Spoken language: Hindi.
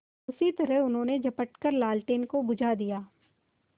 उसी तरह उन्होंने झपट कर लालटेन को बुझा दिया